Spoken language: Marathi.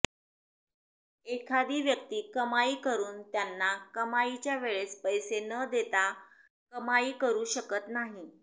एखादी व्यक्ती कमाई करून त्यांना कमाईच्या वेळेस पैसे न देता कमाई करू शकत नाही